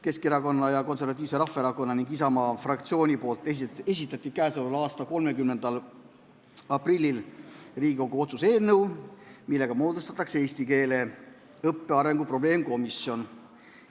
Keskerakonna fraktsioon, Konservatiivse Rahvaerakonna fraktsioon ning Isamaa fraktsioon esitasid k.a 30. aprillil Riigikogu otsuse eelnõu, millega moodustatakse eesti keele õppe arengu probleemkomisjon.